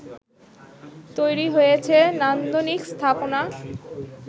তৈরি হয়েছে নান্দনিক স্থাপনা